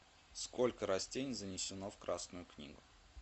сколько растений занесено в красную книгу